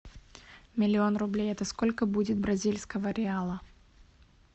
миллион рублей это сколько будет бразильского реала